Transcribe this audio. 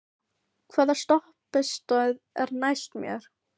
Lín, hvaða stoppistöð er næst mér?